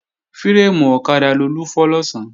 Fírémù ọ̀kadà Lolú fọ́ lọ̀sán